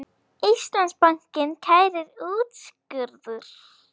Íslandsbanki kærir úrskurð